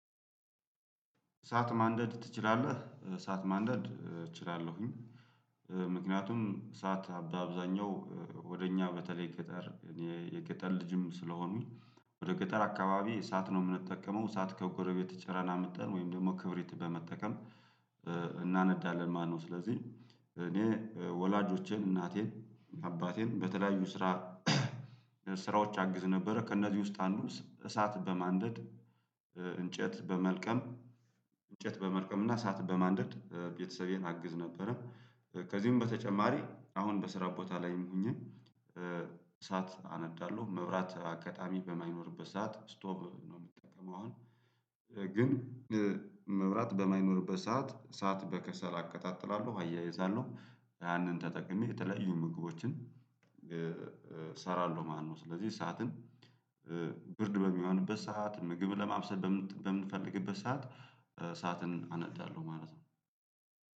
እሳት ማንደድ ትችላለህ? እሳት ማንደድ እችላለሁኝ። ምክንያቱም እሳት በአብዛኛው ወደ እኛ በተለይ ገጠር እኔ የገጠር ልጅም ስለሆኑኝ ወደ ገጠር አካባቢ እሳት ነው የምንጠቀመው እሳት ከጎረቤት ጨረና አምተን ወይም ደግሞ ክብሪት በመጠቀም እናነዳለን ማለትነው። ስለዚህ እኔ ወላጆቼን እናቴን አባቴን በተለያዩ ስራ ስራዎች አግዝ ነበረ ከእነዚህ ውስጥ አንዱ እሳት በማንደድ እንጨት በመልቀም እንጨት በመልቀም እና እሳት በማንደድ ቤተሰቤን አግዝ ነበረ። ከዚህም በተጨማሪ አሁን በስራ ቦታ ላይም ሁኜ። እሳት አነዳለሁ መብራት አጋጣሚ በማይኖርበት ሰዓት ስቶቭ ነው የምትጠቀመው አሁን ግን መብራት በማይኖርበት ሰዓት እሳት በከሰል አቀጣጥላለሁ አያይዛለሁ ያንን ተጠቅሜ የተለያዩ ምግቦችን እሰራለሁ ማለትነው። ስለዚህ እሳትን ብርድ በሚሆንበት ሰዓት ምግብ ለማብሰል በምንፈልግበት ሰዓት እሳዓትን አነዳለሁ ማለት ነው